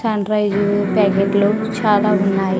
Pen drive ప్యాకెట్లు చాలా ఉన్నాయి.